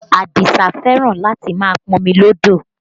Adisa fẹ́ràn láti máa pọmi lọ́dọ̀